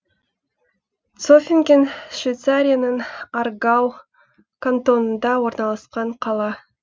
цофинген швейцарияның аргау кантонында орналасқан қала